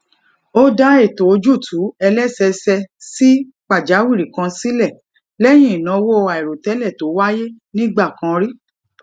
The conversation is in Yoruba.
ó dá ètò ojuutu eleseese si pàjáwìrì kan sile léyìn ìnáwó àìròtélè tó wáyé nígbà kan rí